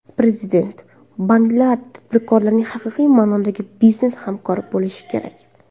Prezident: Banklar tadbirkorlarning haqiqiy ma’nodagi biznes hamkori bo‘lishi kerak.